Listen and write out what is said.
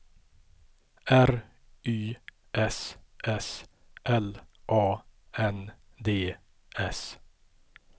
R Y S S L A N D S